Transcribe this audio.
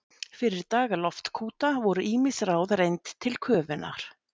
Fyrir daga loftkúta voru ýmis ráð reynd til köfunar.